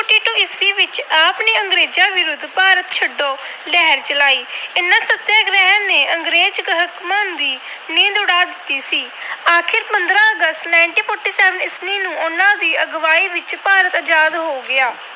ਭਾਰਤ ਛੱਡੋ ਲਹਿਰ ਚਲਾਈ। ਇਹਨਾਂ ਸਤਿਆਗ੍ਰਹਿਆਂ ਨੇ ਅੰਗਰੇਜ ਹਾਕਮਾਂ ਦੀ ਨੀਂਦ ਉਡਾ ਦਿੱਤੀ ਸੀ। ਆਖਰ ਪੰਦਰਾਂ ਅਗਸਤ, ਉਨੀ ਸੌ ਸੰਤਾਲੀ ਨੂੰ ਉਹਨਾਂ ਦੀ ਅਗਵਾਈ ਵਿੱਚ ਭਾਰਤ ਆਜਾਦ ਹੋ ਗਿਆ।